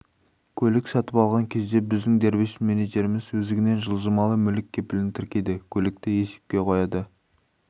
көлік сатып алған кезде біздің дербес менеджеріміз өздігінен жылжымалы мүлік кепілін тіркейді көлікті есепке қояды